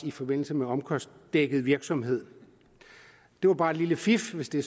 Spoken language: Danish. i forbindelse med omkostningsdækkende virksomhed det var bare et lille fif hvis det